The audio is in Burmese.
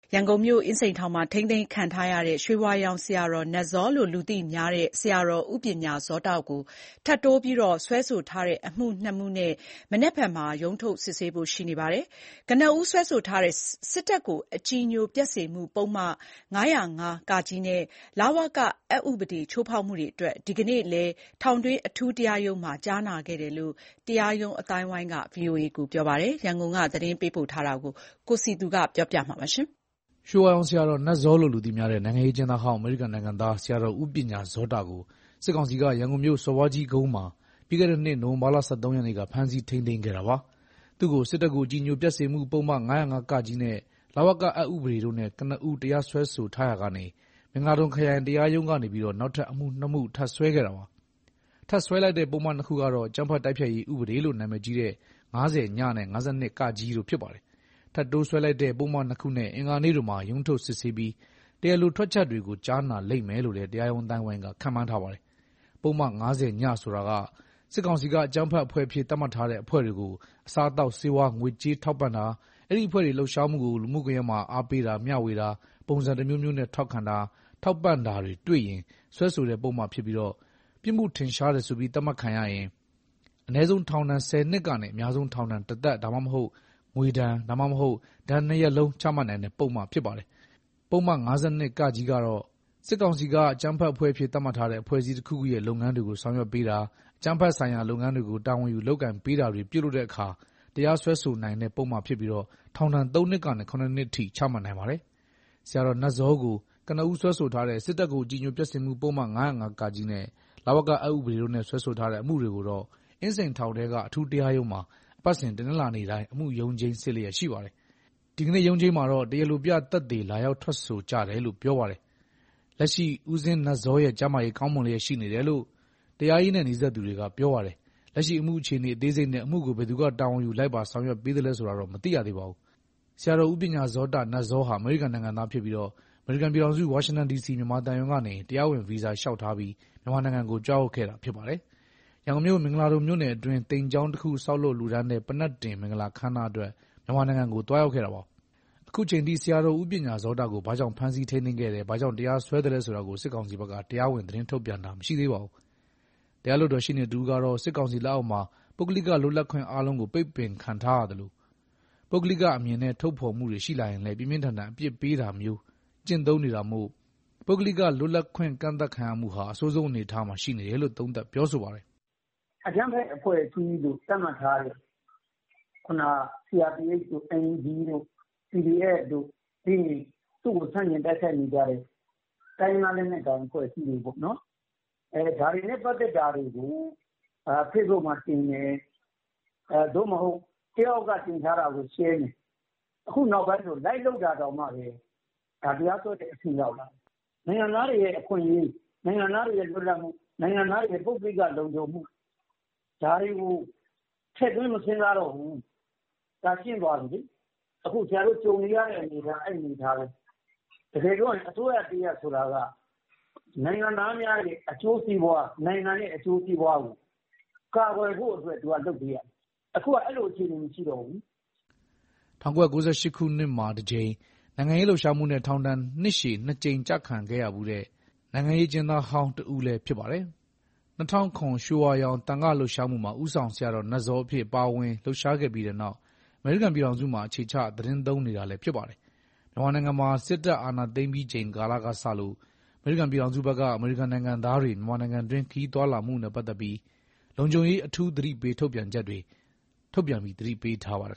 ရန်ကုန်မြို့၊ အင်းစိန်ထောင်မှာထိန်းသိမ်းခံနေရတဲ့ ရွှေဝါရောင်ဆရာတော် နတ်ဇောလို့လူသိများတဲ့ အမေရိကန်နိုင်ငံသား ဆရာတော် ဦးပညာဇောတကို ထပ်တိုးစွဲဆိုထားတဲ့ အမှုနှစ်မှုနဲ့ မနက်ဖြန်မှာ ရုံးထုတ် စစ်ဆေးဖို့ရှိ နေပါတယ်။ ကနဦးစွဲဆိုထားတဲ့ စစ်တပ်ကိုအကြည်ညိုပျက်စေမှု ပုဒ်မ ၅၀၅-ကနဲ့ လဝကအက်ဥပဒေ ချိုးဖောက်မှုတွေအတွက် ဒီကနေ့လည်း ထောင်တွင်းအထူးတရားရုံးမှာ ကြားနာခဲ့ တယ်လို့ တရာရုံး အသိုင်းအဝိုင်းက ပြောပါတယ်။ ဒီအကြောင်း ရန်ကုန်ကသတင်းပေးပို့ထားတာကို အခြေခံပြီး တင်ပြထားပါတယ်။ ရွှေဝါရောင်ဆရာတော် နတ်ဇောလို့လူသိများတဲ့ နိုင်ငံရေးအကျဉ်းသားဟောင်း အမေရိကန်နိုင်ငံသား ဆရာတော်ဦးပညာဇောတကို စစ်ကောင်စီက ရန်ကုန်မြို့ စော်ဘွားကြီးကုန်းမှာ ပြီးခဲ့တဲ့နှစ် နိုဝင်ဘာလ ၁၃ ရက်နေ့က ဖမ်းဆီးထိန်းသိမ်းခဲ့တာပါ။ သူ့ကို စစ်တပ်ကို အကြည်ညိုပျက်စေမှု ပုဒ်မ ၅၀၅-ကနဲ့ လဝကအက်ဥပဒေ တို့နဲ့ ကနဦးတရားစွဲဆိုထားရာကနေ မင်္ဂလာဒုံ ခရိုင်တရားရုံးကနေ အမှု နှစ်မှု နောက်ထပ်စွဲခဲ့တာပါ။ ထပ်စွဲလိုက်တဲ့ပုဒ်မနှစ်ခုက တော့ အကြမ်းဖက်တိုက်ဖျက်ရေး ဥပဒေလို့ နာမည်ကြီးတဲ့ ၅၀ နဲ့ ၅၂ တို့ ဖြစ်ပါတယ်။ ထပ်တိုးစွဲဆိုလိုက်တဲ့ပုဒ်မနှစ်ခုနဲ့ အင်္ဂါနေ့တွေမှာ ရုံးထုတ်စစ်ဆေးပြီး တရားလိုထွက်ချက်တွေကို ကြားနာလိမ့်မယ်လို့လည်း တရားရုံးအသိုင်းအဝိုင်းက ခန့်မှန်းထားပါတယ်။ ပုဒ်မ ၅၀ ဆိုတာက စစ်ကောင်စီက အကြမ်းဖက်အဖွဲ့အဖြစ် သတ်မှတ်ထားတဲ့အဖွဲ့တွေကို အစား အသောက်ဆေးဝါး၊ ငွေကြေးထောက်ပံ့တာ၊ အဲဒီအဖွဲ့တွေလှုပ်ရှားမှုကို လူမှုကွန်ယက်မှာ အားပေးတာ၊ မျှဝေတာ ပုံစံတမျိုးမျိုးနဲ့ ထောက်ခံတာ၊ ထောက်ပံ့တာတွေတွေ့ရင် စွဲဆိုတဲ့ ပုဒ်မဖြစ်ပြီး ပြစ်မှုထင်ရှား တယ်ဆိုပြီး သတ်မှတ်ခံရရင် အနည်းဆုံးထောင်ဒဏ် ၁၀ နှစ်ကနေ အများဆုံးထောင်ဒဏ် တသက် ဒါမှမဟုတ် ငွေဒဏ် ဒါမှမဟုတ် ဒဏ်နှစ်ရပ်လုံးချမှတ်နိုင်တဲ့ပုဒ်မဖြစ်ပါတယ်။ ပုဒ်မ ၅၂ ကတော့ စစ်ကောင်စီက အကြမ်းဖက်အဖွဲ့အဖြစ် သတ်မှတ်ထားတဲ့အဖွဲ့အစည်းတခုခုရဲ့ လုပ်ငန်းတွေကို ဆောင်ရွက်ပေးတာ၊ အကြမ်းဖက်ဆိုင်ရာလုပ်ငန်းတွေကို တာဝန်ယူလုပ်ကိုင်ပေးတာတွေ ပြုလုပ်တဲ့ အခါ တရားစွဲဆိုနိုင်တဲ့ပုဒ်မဖြစ်ပြီး ထောင်ဒဏ် ၃ နှစ်ကနေ ၇ နှစ်အထိ ချမှတ်နိုင်ပါတယ်။ ဆရာတော်နတ်ဇောကို ကနဦးစွဲဆိုထားတဲ့ စစ်တပ်ကို အကြည်ညိုပျက်စေမှု ပုဒ်မ ၅၀၅-ကနဲ့ လဝက အက် ဥပဒေ တို့နဲ့စွဲဆိုထားတဲ့ အမှုတွေကိုတော့ အင်းစိန်ထောင်ထဲက အထူးတရားရုံးမှာ အပတ်စဉ် တနင်္လာနေ့တိုင်း အမှုရုံးချိန်းစစ်လျက်ရှိပါတယ်။ ဒီကနေ့ရုံးချိန်းမှာတော့ တရားလိုပြသက်သေ လာ ရောက် ထွက်ဆိုကြတယ်လို့ ပြောပါတယ်။ လက်ရှိ ဦးဇင်းနတ်ဇောရဲ့ကျန်းမာရေး ကောင်းမွန်လျက်ရှိနေတယ်လို့ တရားရေးနဲ့ နီးစပ်သူတွက ပြောပါတယ်။ လက်ရှိအမှုအခြေအနေ အသေးစိတ်နဲ့ အမှုကို ဘယ်သူက တာဝန်ယူ လိုက်ပါ ဆောင်ရွက်ပေးသလဲ ဆိုတာကိုတော့ မသိရသေးပါဘူး။ ဆရာတော် ဦးပညာဇောတ ဟာ အမေရိကန်နိုင်ငံသားဖြစ်ပြီး အမေရိကန်ပြည်ထောင်စု ဝါရှင်တန်ဒီစီ မြန်မာသံရုံးကနေ တရားဝင် ဗီဇာလျှောက်ထားပြီး မြန်မာနိုင်ငံကိုကြွရောက်ခဲ့တာဖြစ်ပါ တယ်။ ရန်ကုန်မြို့ မင်္ဂလာဒုံမြို့နယ်အတွင်း သိမ်ကျောင်းတော်တခု ဆောက်လုပ်လှူဒါန်းတဲ့ ပန္နက်တင် မင်္ဂလာပွဲအခမ်းအနားအတွက် မြန်မာနိုင်ငံကို သွားရောက်ခဲ့တာပါ။ အခုအချိန်အထိ ဆရာတော်ဦးပညာဇောတကို ဘာကြောင့်ဖမ်းဆီးထိန်းသိမ်းခဲ့တယ်၊ ဘာကြောင့် တရားစွဲသလဲဆိုတာကို စစ်ကောင်စီဘက်က တရားဝင် သတင်းထုတ်ပြန်တာမရှိသေးပါဘူး။ တရား လွှတ်တော် ရှေ့နေတဦးကတော့ စစ်ကောင်စီလက်အောက်မှာ ပုဂ္ဂလိကလွတ်လပ်ခွင့်အားလုံး ပိတ်ပင်ခံထားရသလို ပုဂ္ဂလိကအမြင်နဲ့ထုတ်ဖော်မှုတွေရှိလာရင်လည်း ပြင်းပြင်းထန်ထန် အပြစ်ပေး တာမျိုးထိ ကျင့်သုံးနေတာမို့ ပုဂ္ဂလိကလွတ်လပ်ခွင့်ကန့်သတ်ခံရမှုဟာ အဆိုးဆုံးအနေအထားမှာရှိနေ တယ်လို့ သုံးသပ်ပြောဆိုပါတယ်။ “အကြမ်းဖက်အဖွဲ့အစည်းလို့သတ်မှတ်ထားတဲ့ CRPHတို့ NUG PDFတို့သူ့ကိုဆန့်ကျင်တိုက်ခိုက်နေတဲ့ တိုင်းရင်းသား အဖွဲ့တွေနုဲ့ပတ်သက်လို့ ဒါတွေနဲ့ပတ်သတ်တာတွေကိုဖေ့ဘုတ်မှာတင်တယ်။ တယောက် ယောက်တင်ထားတာကို ရှယ်ရင်ကို ခုနောက်ပိုင်းဆို လိုက်လုပ် တာတောင် တရားစွဲတဲ့အဆင့် ရောက်လာတယ်။ နိုင်ငံသားတွေရဲ့အခွင့်အရေး၊ လွတ်လပ်မှု၊ နိုင်ငံသားတွေရဲ့ပုဂ္ဂလိကလုံခြုံမှု ဒါတွေကို ထည့်သွင်းမစဉ်းစားတော့တာ ရှင်းသွားပြီလေ။ ခုကြုံနေရတဲ့အနေအထားက အဲအနေအထားပဲ။ တကယ်ပြောရရင် အစိုးရတရပ်ဆိုတာ နိုင်ငံသားတွေရဲ့အကျိုးစီးပွား နိုင်ငံရဲ့အကျိုးစီးပွားကိုကာကွယ်ဖို့ လုပ်ပေးရမှာ။ အခုကအဲအခြေအနေတွေမရှိတော့ဘူး။” ဆရာတော်ဦးပညာဇောတဟာ ၁၉၉၈ ခုနှစ်မှာ တကြိမ်၊ နိုင်ငံရေးလှုပ်ရှားမှုနဲ့ ထောင်ဒဏ်နှစ်ရှည် နှစ်ကြိမ်ချခံခဲ့ရဖူးတဲ့ နိုင်ငံရေး အကျဉ်းသားဟောင်းတယောက်ဖြစ်ပါတယ်။ ၂ဝဝ၇ ရွှေဝါရောင် သံဃာ့လှုပ်ရှားမှုမှာ ဦးဆောင်ဆရာတော်နတ်ဇောအဖြစ် ပါဝင်လှုပ်ရှားခဲ့ပြီးတဲ့နောက် အမေရိကန်ပြည်ထောင်စုမှာ အခြေချသီတင်းသုံးနေတာလည်း ဖြစ်ပါတယ်။ မြန်မာနိုင်ငံမှာ စစ်တပ် အာဏာသိမ်းပြီးချိန်ကာလ ကစလို့ အမေရိကန်ပြည်ထောင်စုဘက်က အမေရိကန်နိုင်ငံသားတွေ မြန်မာနိုင်ငံတွင်း ခရီးသွားလာမှုနဲ့ပတ်သက်လို့ လုံခြုံရေးအထူးကြေညာချက်တွေထုတ်ပြန်ပြီး သတိပေးထားပါတယ်